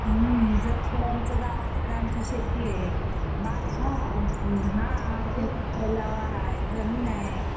हुन च गाव आहे तिकडे आमची शेती ए बाग ए हा तलाव हाय जमीन हाय